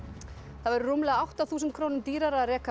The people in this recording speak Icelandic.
það verður rúmlega átta þúsund krónum dýrara að reka